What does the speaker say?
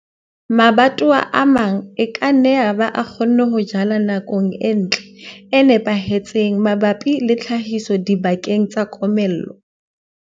Mabatowa a mang e ka nna yaba a kgonne ho jala nakong e ntle, e nepahetseng mabapi le tlhahiso dibakeng tsa komello.